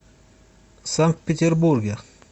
санкт петербурге